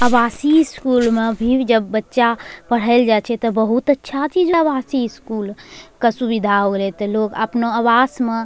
आवासीय स्कूल मे भी जब बच्चा पढ़े ले जाय छै ते बहुत अच्छा चीज आवासी स्कूल के सुविधा होय रहे लोग अपना आवास मे --